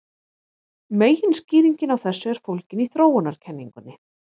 Meginskýringin á þessu er fólgin í þróunarkenningunni.